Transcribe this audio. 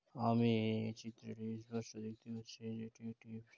আমি এই চিত্রটি স্পট দেখতে পাচ্ছি |এটি একটি--